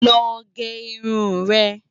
Lò gè irún rè